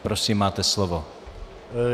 Prosím, máte slovo.